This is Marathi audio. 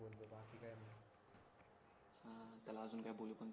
त्याला अजून काय बोलू पण